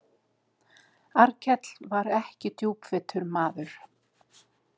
Arnkell var ekki djúpvitur maður.